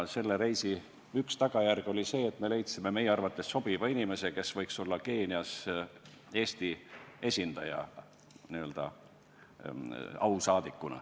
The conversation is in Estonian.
Selle reisi üks tulemus oli see, et leidsime meie arvates sobiva inimese, kellest võiks saada Keenias Eesti esindaja, n-ö ausaadik.